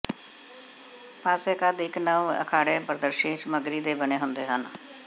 ਪਾਸੇ ਕੰਧ ਇੱਕ ਨਵ ਅਖਾੜੇ ਪਾਰਦਰਸ਼ੀ ਸਮੱਗਰੀ ਦੇ ਬਣੇ ਹੁੰਦੇ ਹਨ